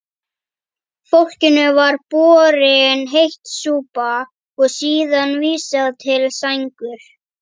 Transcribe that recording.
Fólkinu var borin heit súpa og síðan vísað til sængur.